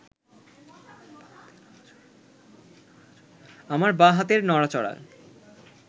আমার বাঁ হাতের নড়াচড়া